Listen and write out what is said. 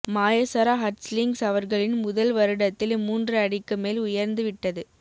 Maiasaura hatchlings அவர்களின் முதல் வருடத்தில் மூன்று அடிக்கு மேல் உயர்ந்து விட்டது